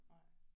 Nej